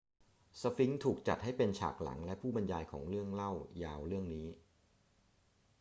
สฟิงซ์ถูกจัดให้เป็นฉากหลังและผู้บรรยายของเรื่องเล่ายาวเรื่องนี้